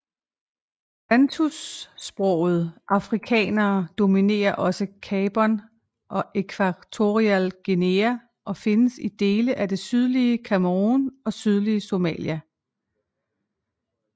Bantusprogede afrikanere dominerer også i Gabon og Ekvatorial Guinea og findes i dele af det sydlige Cameroun og sydlige Somalia